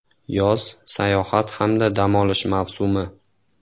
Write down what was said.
Yoz sayohat hamda dam olish mavsumi.